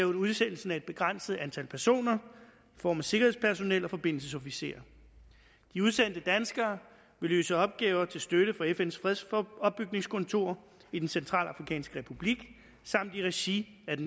udsendelsen af et begrænset antal personer i form af sikkerhedspersonel og forbindelsesofficerer de udsendte danskere vil løse opgaver til støtte for fns fredsopbygningskontor i den centralafrikanske republik samt i regi af